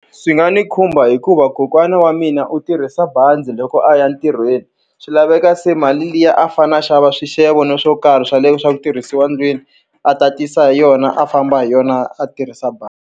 Swi nga ni khumba hikuva kokwana wa mina u tirhisa bazi loko a ya ntirhweni. Swi laveka se mali liya a fanele a xava swixevo na swo karhi swa le swa ku tirhisiwa ndlwini, a tatisa hi yona a famba hi yona a tirhisa bazi.